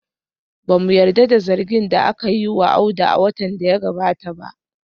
Ba mu yarda da zargin da aka yi wa Audu a watan da ya gabata ba